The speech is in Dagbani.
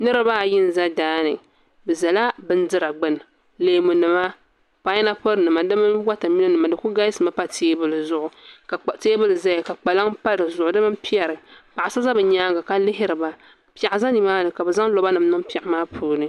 Niraba ayi n ʒɛ daani bi ʒɛla bindira gbuni leemu nima painapuli nima di mini wotamilo di ku galisimi pa teebuli zuɣu ka teebuli ʒɛya ka kpalaŋ pa dinni di mini piɛri paɣa so ʒɛ bi nyaanga ka lihiriba piɛɣu ʒɛ nimaani ka bi zaŋ loba nim niŋ piɛɣu maa puuni